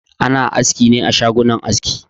Ana askine a shagunan aski.